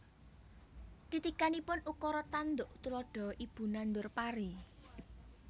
Titikanipun Ukara tanduk tuladha Ibu nandur pari